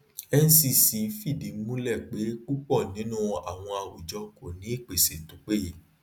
ncc fìdí múlẹ pé púpọ ninu àwọn àwùjọ kò ní ìpèsè to peye